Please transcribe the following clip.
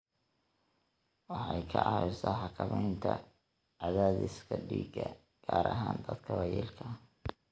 Waxay ka caawisaa xakamaynta cadaadiska dhiigga, gaar ahaan dadka waayeelka ah.